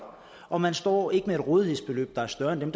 og man står ikke med et rådighedsbeløb der er større end det